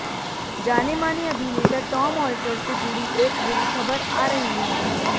जाने माने अभिनेता टॉम ऑल्टर से जुड़ी एक बुरी खबर आ रही है